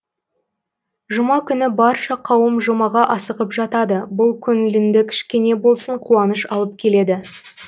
жұма күні барша қауым жұмаға асығып жатады бұл көңіліңді кішкене болсын қуаныш алып келеді